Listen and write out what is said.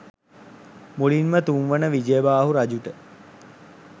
මුලින්ම තුන්වන විජයබාහු රජුට